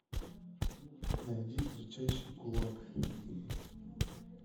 найди кричащий кулак